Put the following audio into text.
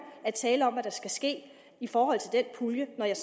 at tale om hvad der skal ske i forhold til den pulje når jeg